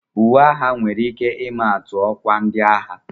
Uwe agha nwere ike ịma atu ọkwa ndị agha